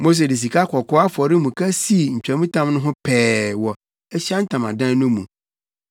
Mose de sikakɔkɔɔ afɔremuka sii ntwamtam no ho pɛɛ wɔ Ahyiae Ntamadan no mu